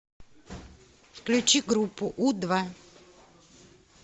включи группу у два